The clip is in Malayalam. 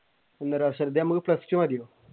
ഒന്നര വർഷം ഇതിന് നമുക്ക് plus two മതി?